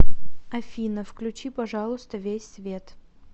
афина включи пожалуйста весь свет